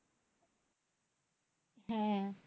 হ্যাঁ